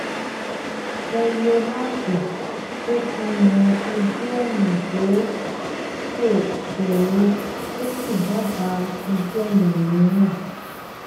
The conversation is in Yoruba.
mo lo aápù tó fihàn ojúọ̀nà tó ṣò ṣòro tó sì dábàá ojúọ̀nà mìíràn